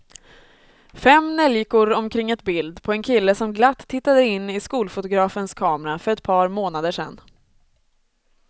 Fem neljikor omkring ett bild på en kille som glatt tittade in i skolfotografens kamera för ett par månader sedan.